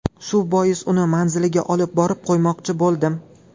Shu bois uni manziliga olib borib qo‘ymoqchi bo‘ldim.